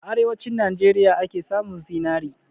A arewanci Najeriya ake samun zinari